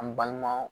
An balima